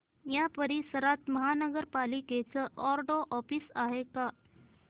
या परिसरात महानगर पालिकेचं वॉर्ड ऑफिस आहे का